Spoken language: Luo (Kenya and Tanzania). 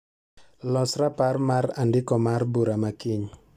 Los raparmar andiko mar bura makiny.